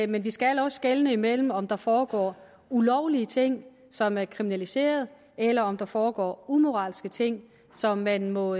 men vi skal også skelne imellem om der foregår ulovlige ting som er kriminaliserede eller om der foregår umoralske ting som man må